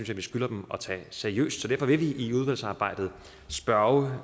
jeg vi skylder dem at tage seriøst derfor vil vi i udvalgsarbejdet spørge